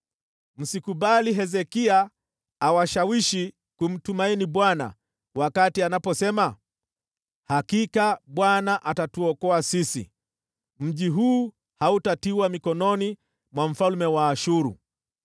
Msikubali Hezekia awashawishi kumtumaini Bwana kwa kuwaambia, ‘Hakika Bwana atatuokoa. Mji huu hautaangukia mikononi mwa mfalme wa Ashuru.’